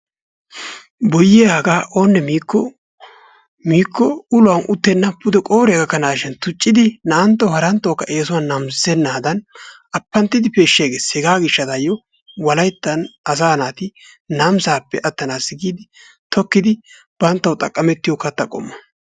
Boyyiya hagaa oonne miikko uluwan uttenna pude qooriya gakkanaashin tuccidi naa"antto haranttokka eesuwan namisissennadan appanttidi peeshshi agges hegaa gishshataayyo wolayttan asaa naati namisaappe attanaassi giidi tokkidi banttawu xaqqamettiyo katta qommo.